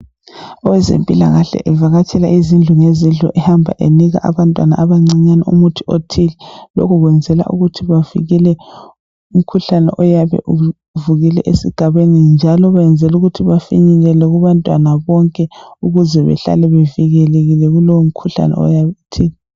Owezempilakahle evakatshela izindlu ngezindlu ehambe enika abantwana abancinyane umuthi othile. Lokhu benzela ukuthi bavikele umkhuhlane oyabe ufikile esigabeni njalo benzela ukuthi bafinyelele kubantwana bonke ukuze behlale bevikelekile kulowo mkhuhlane.